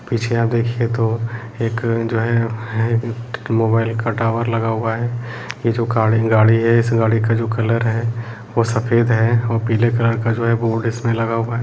पीछे आप देखिये तो एक जो है है इक मोबाइल का टावर लगा हुआ है ये जो खाड़ी गाड़ी है इस गाडी का जो कलर है वो सफ़ेद है औ पीले कलर का जो है बोर्ड इसमें लगा हुआ है।